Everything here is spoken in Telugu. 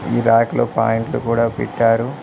ఈ రాకలో పాయింట్లు కూడా పెట్టారు.